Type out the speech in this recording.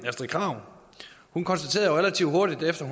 astrid krag hun konstaterede jo relativt hurtigt efter